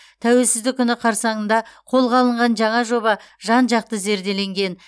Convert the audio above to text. тәуелсіздік күні қарсаңында қолға алынған жаңа жоба жан жақты зерделенген